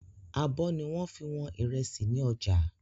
Àbọ̀ ni wọ́n fi wọn ìrẹsì ni ọjà.